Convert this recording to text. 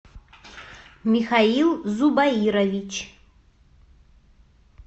михаил зубаирович